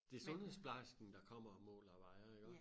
Det sundhedsplejersken der kommer og måler og vejer iggå?